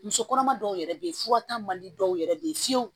Muso kɔnɔma dɔw yɛrɛ be yen furata man di dɔw yɛrɛ be yen fiyewu